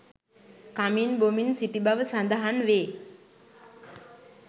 කමින් බොමින් සිටි බව සඳහන් වේ